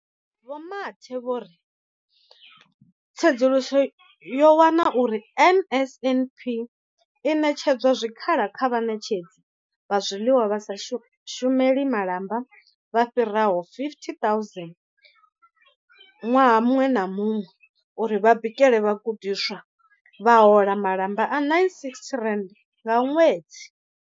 Vho Mathe vho ri tsedzuluso yo wana uri NSNP i ṋetshedza zwikhala kha vhaṋetshedzi vha zwiḽiwa vha sa shumeli malamba vha fhiraho 50 000 ṅwaha muṅwe na muṅwe uri vha bikele vhagudiswa, vha hola malamba a R960 nga ṅwedzi.